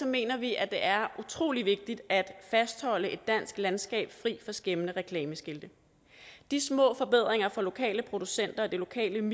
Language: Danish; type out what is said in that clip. mener vi at det er utrolig vigtigt at fastholde et dansk landskab fri for skæmmende reklameskilte de små forbedringer for lokale producenter og det lokale